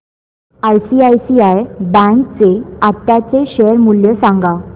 ICICI bank चे आताचे share मूल्य सांगा